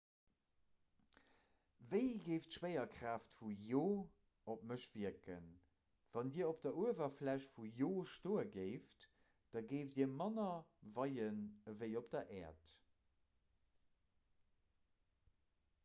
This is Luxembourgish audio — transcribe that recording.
wéi géif d'schwéierkraaft vun io op mech wierken wann dir op der uewerfläch vun io stoe géift da géift dir manner weien ewéi op der äerd